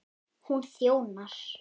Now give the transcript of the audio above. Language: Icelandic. Hún þjónar